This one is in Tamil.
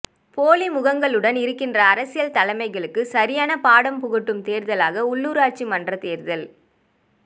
போலி முகங்களுடன் இருக்கின்ற அரசியல் தலைமைகளுக்கு சரியான பாடம் புகட்டும் தேர்தலாக உள்ளுராட்சி மன்றத் தேர்தல்